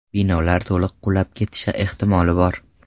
Binolar to‘liq qulab ketishi ehtimoli bor.